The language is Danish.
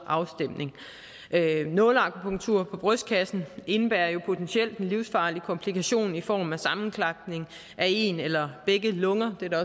afstemning nåleakupunktur på brystkassen indebærer jo potentielt en livsfarlig komplikation i form af sammenklapning af en eller begge lunger det er der